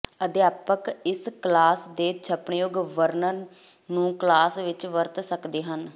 ਅਧਿਆਪਕ ਇਸ ਕਲਾਸ ਦੇ ਛਪਣਯੋਗ ਵਰਣਨ ਨੂੰ ਕਲਾਸ ਵਿਚ ਵਰਤ ਸਕਦੇ ਹਨ